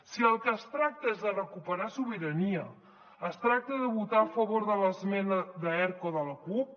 si del que es tracta és de recuperar sobirania de votar a favor de l’esmena d’erc o de la cup